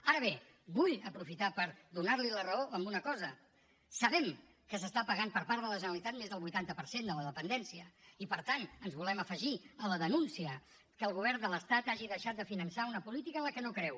ara bé vull aprofitar per donar li la raó en una cosa sabem que s’està pagant per part de la generalitat més del vuitanta per cent de la dependència i per tant ens volem afegir a la denúncia que el govern de l’estat hagi deixat de finançar una política en la que no creu